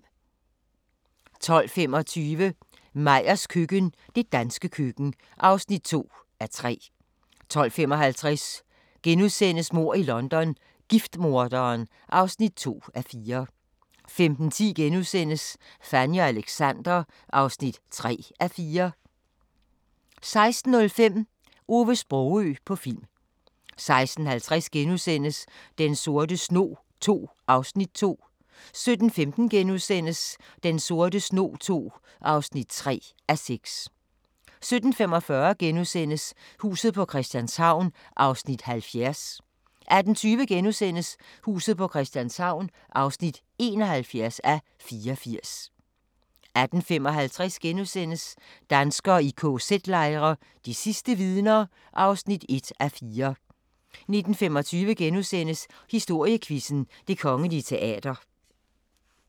12:25: Meyers køkken – det danske køkken (2:3) 12:55: Mord i London – giftmorderen (2:4)* 15:10: Fanny og Alexander (3:4)* 16:05: Ove Sprogøe på film 16:50: Den sorte snog II (2:6)* 17:15: Den sorte snog II (3:6)* 17:45: Huset på Christianshavn (70:84)* 18:20: Huset på Christianshavn (71:84)* 18:55: Danskere i kz-lejre – de sidste vidner (1:4)* 19:25: Historiequizzen: Det Kongelige Teater *